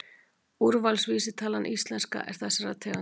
Úrvalsvísitalan íslenska er þessarar tegundar.